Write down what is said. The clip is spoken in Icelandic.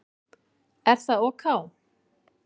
Er það ok?